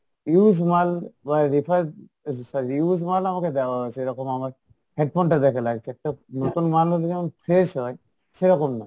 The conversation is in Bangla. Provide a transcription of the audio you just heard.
use মাল বা refer so~ sorry use মাল আমাকে দেওয়া হয়েছে এরকম আমার headphone টা দেখে লাগছে একটা নতুন মাল হলে যেমন fresh হয়, সেরকম না।